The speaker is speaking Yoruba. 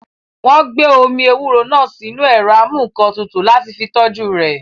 Wọ́n gbé omi ewúro náà sínu ẹ̀rọ amúǹkantutù láti fi tọ́jú rẹ̀